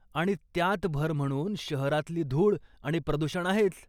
आणि त्यात भर म्हणून शहरातली धूळ आणि प्रदूषण आहेच.